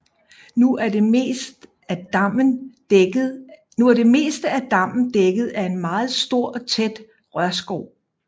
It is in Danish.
Nu er det meste af dammen dækket af en meget stor og tæt rørskov